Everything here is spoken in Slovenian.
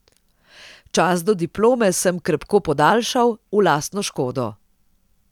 Čas do diplome sem krepko podaljšal, v lastno škodo.